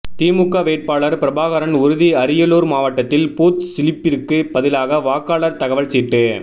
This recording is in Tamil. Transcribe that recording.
திமுக வேட்பாளர் பிரபாகரன் உறுதி அரியலூர் மாவட்டத்தில் பூத் சிலிப்பிற்கு பதிலாக வாக்காளர் தகவல் சீட்டு